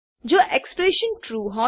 જો expression true